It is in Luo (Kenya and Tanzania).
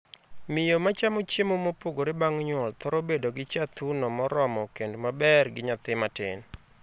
Miyo ma chamo chiemo mopogore bang' nyuol thoro bedo gi chaa thuno moromo kend maber gi nyathi matin.